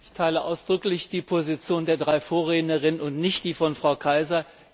Ich teile ausdrücklich die Position der drei Vorrednerinnen und nicht die von Frau De Keyser.